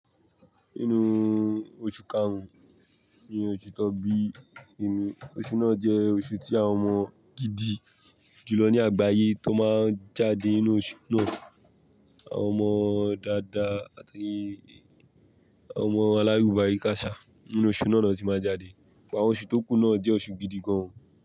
Inú oṣù karùn-ún ni oṣù Tọ́bí ẹ̀mí. Oṣù náà jẹ́ oṣù tí àwọn ọmọ gidi jù lọ ní àgbáyé tó máa ń jáde nínú oṣù náà. Àwọn ọmọ dáadáa àti àwọn ọmọ alárùbárika ṣà nínú oṣù náà ló ti máa jáde. Awọn oṣù tó kù náà jẹ́ oṣù gidi gan.